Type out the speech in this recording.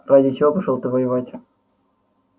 ради чего пошёл ты воевать